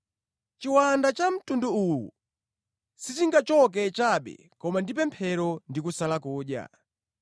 Chiwanda cha mtundu uwu sichingachoke chabe koma ndi pemphero ndi kusala kudya.”